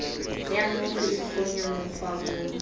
ya mmofu e kgonya mokgwabong